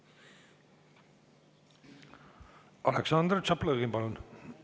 Aleksandr Tšaplõgin, palun!